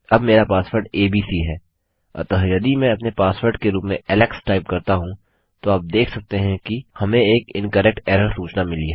अब मेरा password ABC है अतः यदि मैं अपने पासवर्ड के रूप में एलेक्स टाइप करता हूँ तो आप देख सकते हैं कि हमें एक इनकरेक्ट एरर सूचना मिली है